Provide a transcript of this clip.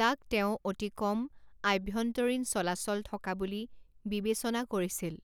যাক তেওঁ অতি কম আভ্যন্তৰীণ চলাচল থকা বুলি বিবেচনা কৰিছিল।